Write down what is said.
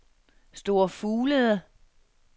Store Fuglede